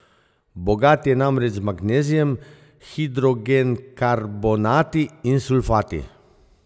Bogat je namreč z magnezijem, hidrogenkarbonati in sulfati.